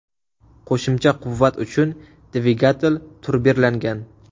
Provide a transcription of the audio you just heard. Qo‘shimcha quvvat uchun dvigatel turbirlangan.